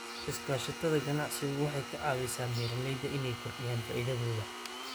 Iskaashatada ganacsigu waxay ka caawisaa beeralayda inay kordhiyaan faa'iidadooda.